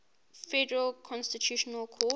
federal constitutional court